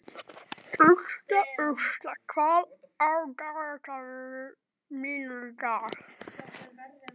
Ursula, hvað er á dagatalinu mínu í dag?